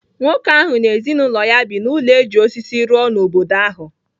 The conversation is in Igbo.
Nwoke ahụ na ezinụlọ ya bi n’ụlọ e ji osisi rụọ n’obodo ahụ.